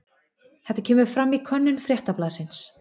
Þetta kemur fram í könnun Fréttablaðsins